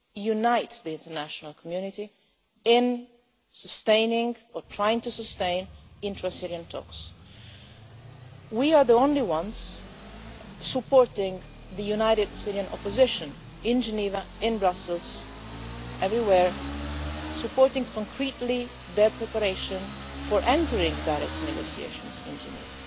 to unite the international community in sustaining, or trying to sustain, intra-Syrian talks. We are the only ones supporting the united Syrian opposition in Geneva, in Brussels everywhere and giving concrete support to their preparation for entering into direct negotiations in Geneva.